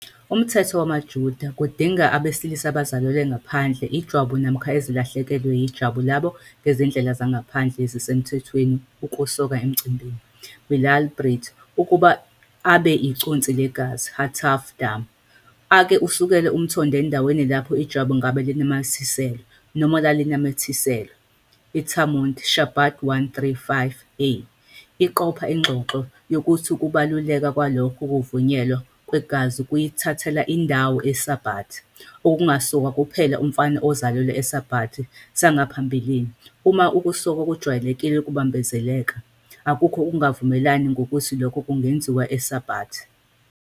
Umthetho wamaJuda kudinga abesilisa abazalelwa ngaphandle ijwabu namkha ezilahlekelwe yejwabu labo ngezindlela ngaphandle esisemthethweni ukusoka emcimbini, "milah brit", ukuba abe iconsi legazi "hatafat-damu,", ake kusukela umthondo endaweni lapho ijwabu ngabe linamathiselwe, noma lalinamathiselwe. ITalmud, Shabbat 135A, iqopha ingxoxo yokuthi ukubaluleka kwalokhu kuvunyelwa kwegazi kuyithathela indawo iSabbat, okungasokwa kuphela umfana owazalelwa eSabbat sangaphambilini. Uma ukusoka okujwayelekile kubambezeleka, akukho ukungavumelani ngokuthi lokhu kungenziwa eShabbat.